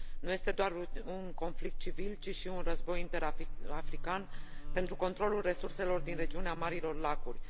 Nu este doar un conflict civil, ci și un război interafrican pentru controlul resurselor din regiunea Marilor Lacuri.